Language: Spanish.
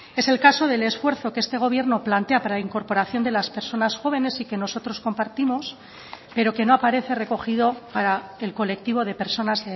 es el caso del esfuerzo que este gobierno plantea para la incorporación de las personas jóvenes y que nosotros compartimos pero que no aparece recogido para el colectivo de personas